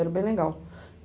Era bem legal.